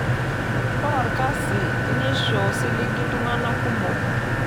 Ore olkasi naisho osiligi iltunganak kumok.